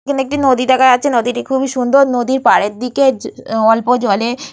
এখানে একটি নদী দেখা যাচ্ছে নদীটি খুব সুন্দর পাড়ের দিকে অল্প জলে --